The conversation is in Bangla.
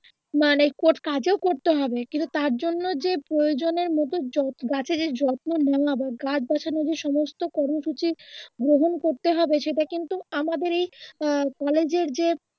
মানে কোট কাজ ও করতে হবে কিন্তু তার জন্য যে প্রয়োজনের মত যত্ন গাছের যে যত্ন নেওয়া বা গাছ বাঁচানোর যে সমস্ত কর্মসূচি গ্রহন করতে হবে সেটা কিন্তু আমাদেরই আহ কলেজের যে